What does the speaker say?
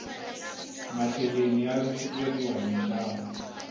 macheleni ya lahlekeriwa hi nxavo